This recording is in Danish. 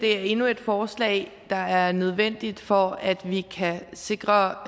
er endnu et forslag der er nødvendigt for at vi kan sikre